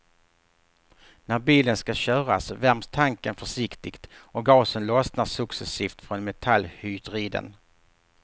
När bilen ska köras värms tanken försiktigt och gasen lossnar succesivt från metallhydriden.